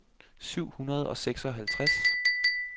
syv hundrede og seksoghalvtreds